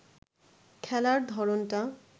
খেলার ধরনটা